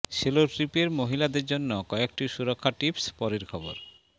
solo ট্রিপের মহিলাদের জন্য কয়েকটি সুরক্ষা টিপস পরের খবর